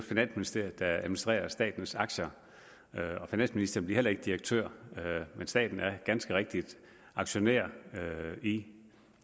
finansministeriet der administrerer statens aktier og finansministeren bliver heller ikke direktør staten er ganske rigtig aktionær i